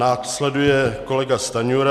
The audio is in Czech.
Následuje kolega Stanjura.